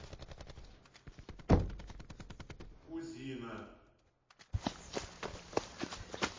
кузина